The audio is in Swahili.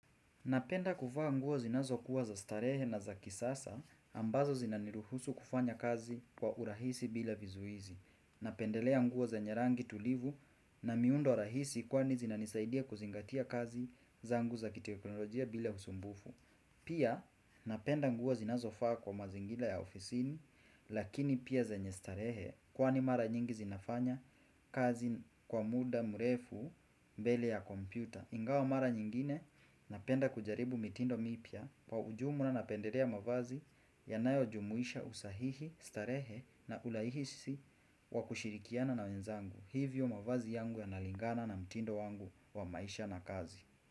Napenda kuvaa nguo zinazo kuwa za starehe na za kisasa ambazo zinaniruhusu kufanya kazi kwa urahisi bila vizuizi. Napendelea nguo zenye rangi tulivu na miundo rahisi kwani zinanisaidia kuzingatia kazi zangu za kiteknolojia bila usumbufu. Pia napenda nguo zinazo faa kwa mazingila ya ofisin lakini pia zenye starehe kwani mara nyingi zinafanya kazi kwa muda mrefu mbele ya kompyuta. Ingawa mara nyingine napenda kujaribu mitindo mipya kwa ujumla na napendelea mavazi ya nayo jumuisha usahihi, starehe na ulaihisi wa kushirikiana na wenzangu. Hivyo mavazi yangu ya nalingana na mitindo wangu wa maisha na kazi.